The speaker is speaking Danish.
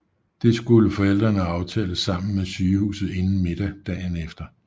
Det skulle forældrene aftale sammen med sygehuset inden middag dagen efter